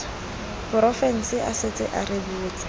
porofense a setse a rebotse